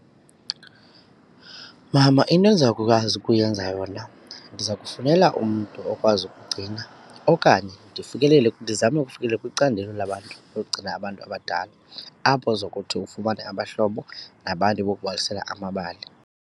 Mama, into endizawukwazi ukuyenza yona ndiza kufowunela umntu okwazi ukugcina okanye ndifikelele ndizame ukufikelela kwicandelo labantu yokugcina abantu abadala apho uzokuthi ufumane abahlobo nabantu bokubalisela amabali.